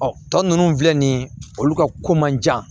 Ɔ tɔ ninnu filɛ nin ye olu ka ko man jan